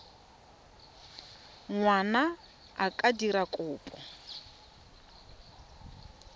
ngwana a ka dira kopo